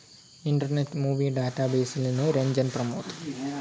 internet movie ഡാറ്റാബേസിൽ നിന്ന് രഞ്ജൻ പ്രമോദ്